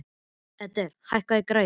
Edgar, hækkaðu í græjunum.